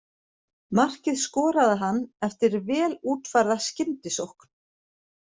Markið skoraði hann eftir vel útfærða skyndisókn.